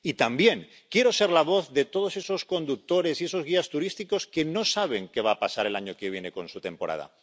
Y también quiero ser la voz de todos esos conductores y esos guías turísticos que no saben qué va a pasar el año que viene con su temporada.